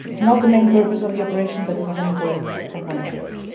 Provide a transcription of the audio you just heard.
This is not the main purpose of the operation but it is an important component